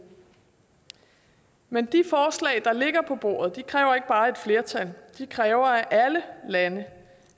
men de forslag der ligger på bordet kræver ikke bare et flertal de kræver at alle lande